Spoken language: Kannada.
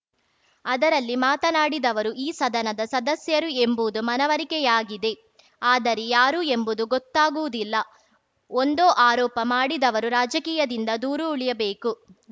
ಅದರಲ್ಲಿ ಮಾತನಾಡಿದವರು ಈ ಸದನದ ಸದಸ್ಯರು ಎಂಬುವುದು ಮನವರಿಕೆಯಾಗಿದೆ ಆದರೆ ಯಾರು ಎಂಬುದು ಗೊತ್ತಾಗುವುದಿಲ್ಲ ಒಂದೋ ಆರೋಪ ಮಾಡಿದವರು ರಾಜಕೀಯದಿಂದ ದೂರು ಉಳಿಯಬೇಕು